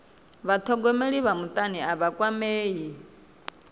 vhathogomeli vha mutani a vha kwamei